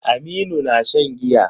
Aminu na shan giya.